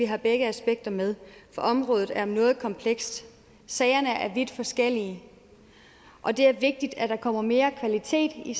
har begge aspekter med for området er noget komplekst sagerne er vidt forskellige og det er vigtigt at der kommer mere kvalitet i